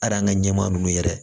Aran ka ɲɛmaa ninnu yɛrɛ